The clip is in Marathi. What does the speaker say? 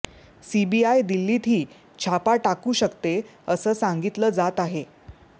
सीबीआय दिल्लीतही छापा टाकू शकते असं सांगितलं जात आहे